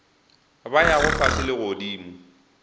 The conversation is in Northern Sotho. ba yago fase le godimo